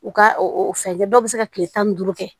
U ka o fɛn kɛ dɔw bɛ se ka kile tan ni duuru kɛ